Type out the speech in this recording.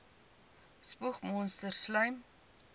spoeg monsters slym